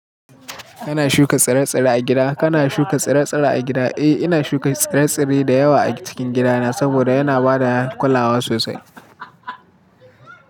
Kana shuka tsire-tsire a gida? Kana shuka tsire-tsire a gida? Eh, ina shuka tsire-tsire da yawa a cikin gidana saboda yana ba da kulawa sosai.